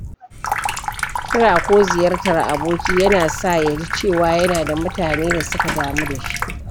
Kira ko ziyartar aboki yana sa ya ji cewa yana da mutane da suka damu da shi.